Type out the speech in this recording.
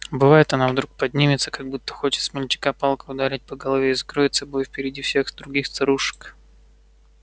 бывает одна вдруг поднимется как будто хочет смельчака палкой ударить по голове и закроет собой впереди всех других старушек